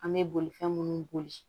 An bɛ bolifɛn minnu boli